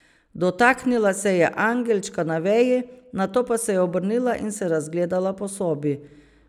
Dotaknila se je angelčka na veji, nato pa se je obrnila in se razgledala po sobi.